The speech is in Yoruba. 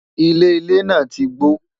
ilé ilé nà tí gbó